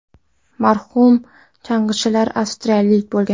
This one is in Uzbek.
Marhum chang‘ichilar avstraliyalik bo‘lgan.